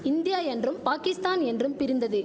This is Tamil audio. இந்தியா என்றும் பாகிஸ்தான் என்றும் பிரிந்தது